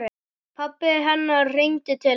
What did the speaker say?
Pabbi hennar hringdi til hennar.